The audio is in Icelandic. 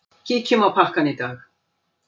Kíkjum á pakkann í dag.